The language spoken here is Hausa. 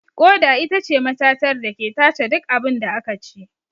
Ƙoda itace matatar dake tace duk abunda akaci